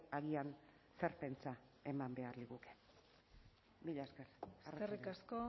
agian zer pentsa eman behar liguke mila esker eskerrik asko